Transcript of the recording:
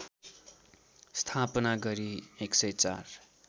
स्थापना गरी १०४